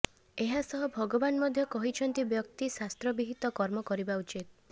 ଏହାସହ ଭଗବାନ ମଧ୍ୟ କହିଛନ୍ତି ବ୍ୟକ୍ତି ଶାସ୍ତ୍ରବିହିତ କର୍ମ କରିବା ଉଚିତ